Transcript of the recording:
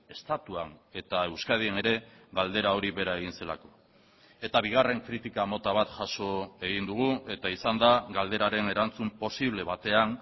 estatuan eta euskadin ere galdera hori bera egin zelako eta bigarren kritika mota bat jaso egin dugu eta izan da galderaren erantzun posible batean